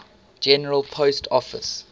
general post office